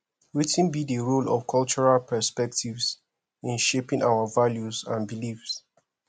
wetin be di role of cultural perspectives in shaping our values and beliefs